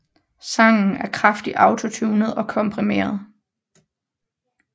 Sangen er kraftigt autotuned og komprimeret